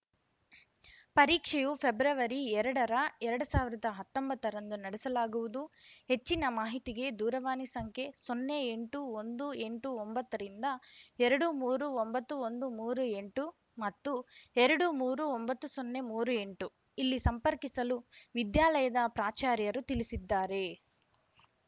ಪರೀಕ್ಷೆಯು ಫೆಬ್ರವರಿಎರಡರ ಎರಡ್ ಸಾವಿರ್ದಾ ಹತ್ತೊಂಬತ್ತರಂದು ನಡೆಸಲಾಗುವುದು ಹೆಚ್ಚಿನ ಮಾಹಿತಿಗೆ ದೂರವಾಣಿ ಸಂಖ್ಯೆ ಸೊನ್ನೆ ಎಂಟು ಒಂದು ಎಂಟು ಒಂಬತ್ತರಿಂದ ಎರಡು ಮೂರೂ ಒಂಬತ್ತು ಒಂದು ಮೂರು ಎಂಟು ಮತ್ತು ಎರಡು ಮೂರು ಒಂಬತ್ತು ಸೊನ್ನೆ ಮೂರು ಎಂಟು ಇಲ್ಲಿ ಸಂಪರ್ಕಿಸಲು ವಿದ್ಯಾಲಯದ ಪ್ರಾಚಾರ್ಯರು ತಿಳಿಸಿದ್ದಾರೆ